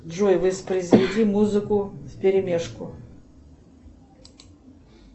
джой воспроизведи музыку вперемешку